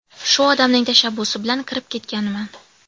Shu odamning tashabbusi bilan kirib ketganman.